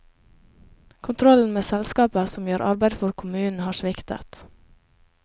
Kontrollen med selskaper som gjør arbeid for kommunen, har sviktet.